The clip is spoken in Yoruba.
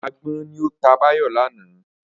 Agbọ́n ni ó ta Báyọ̀ lánàá